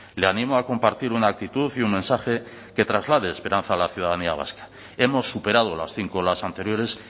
le animo a compartir una actitud y un mensaje que traslade esperanza a la ciudadanía vasca hemos superado las cinco las anteriores